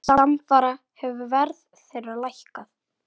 Samfara hefur verð þeirra lækkað.